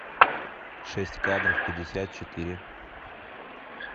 шесть кадров пятьдесят четыре